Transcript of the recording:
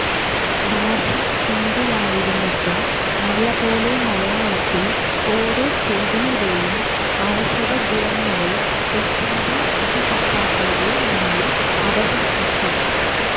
ഭാഷ ഹിന്ദിയായിരുന്നിട്ടും നല്ലപോലെ മലയാളത്തിൽ ഓരോ ചെടിയുടെയും ഔഷധ ഗുണങ്ങളെ തെറ്റാതെ വിധി കർത്താക്കളുടെ മുന്നിൽ അവതരിപ്പിച്ചു